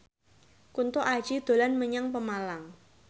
Kunto Aji dolan menyang Pemalang